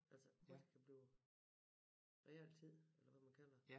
Altså hvor det kan blive realtid eller hvad man kalder det